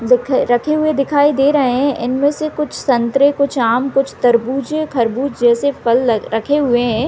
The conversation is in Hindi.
रख रखे हुए दिखाई दे रहे है इनमे से कुछ संतरे कुछ आम कुछ तरबूज या खरबूज जैसे फल रखे हुए हैं।